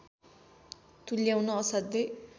तुल्याउन असाध्यै